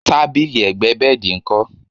tábìlì ẹ̀gbẹ́ bẹ́ẹ̀dì nkọ?